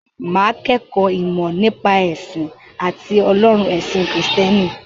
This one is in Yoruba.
Mà á kẹ́kọ̀ọ́ “ìmọ̀ nípa ẹ̀sìn àti ọlọ́run” ẹ̀sìn Kìrìsìtẹ́nì.